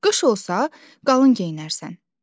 Qış olsa, qalın geyinərsən.